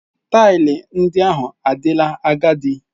Taịlị ndị ahụ adịla agadi.